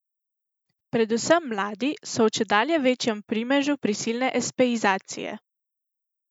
Predvsem mladi so v čedalje večjem primežu prisilne espeizacije.